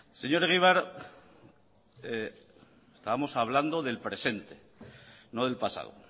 señor egibar estábamos hablando del presente no del pasado